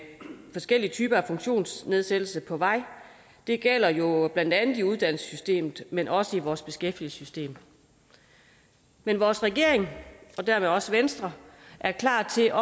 forskellige typer af funktionsnedsættelse på vej det gælder jo blandt andet i uddannelsessystemet men også i vores beskæftigelsessystem men vores regering og dermed også venstre er klar til